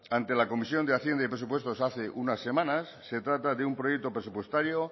ante la comisión de hacienda y presupuestos hace unas semanas se trata de un proyecto presupuestario